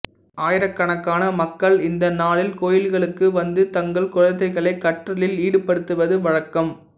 ஆயிரக்கணக்கான மக்கள் இந்த நாளில் கோயில்களுக்கு வந்து தங்கள் குழந்தைகளை கற்றலில் ஈடுபடுத்துவது வழக்கம்